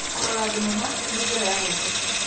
Kũrora thenema nĩ njĩra ya gũkenia.